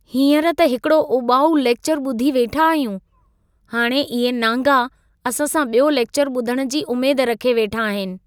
हींअरु त हिकड़ो उॿाऊ लेक्चरु ॿुधी वेठा आहियूं . हाणे इहे नांगा असां सां बि॒यो लेक्चर ॿुधणु जी उमेद रखे वेठा आहिनि!